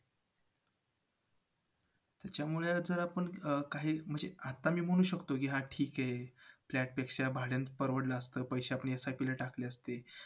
अ म्हणजे लाबंचे बघायला गेले तर बाकी जे जवळपास आहे ते जे आपल्या मुंबईतले आहेत पॅगोडा झालं